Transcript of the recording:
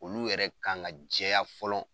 Olu yɛrɛ ka ŋa jɛya fɔlɔ